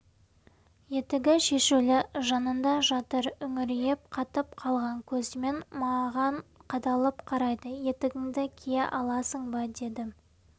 етігі шешулі жанында жатыр үңірейіп қатып қалған көзімен маған қадалып қарайды етігіңді кие аласың ба дедім